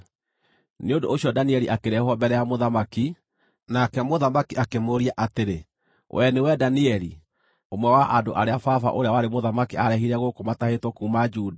Nĩ ũndũ ũcio Danieli akĩrehwo mbere ya mũthamaki, nake mũthamaki akĩmũũria atĩrĩ, “Wee nĩwe Danieli, ũmwe wa andũ arĩa baba, ũrĩa warĩ mũthamaki aarehire gũkũ matahĩtwo kuuma Juda?